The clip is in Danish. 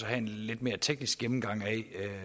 have en lidt mere teknisk gennemgang af